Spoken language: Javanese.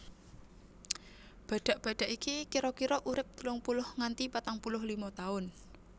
Badhak badhak iki kira kira urip telung puluh nganti patang puluh lima taun